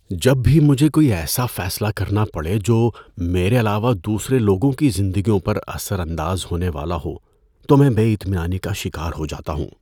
جب بھی مجھے کوئی ایسا فیصلہ کرنا پڑے جو میرے علاوہ دوسرے لوگوں کی زندگیوں پر اثر انداز ہونے والا ہو تو میں بے اطمینانی کا شکار ہو جاتا ہوں۔